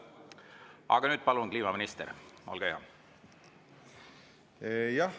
Aga nüüd, palun, kliimaminister, olge hea!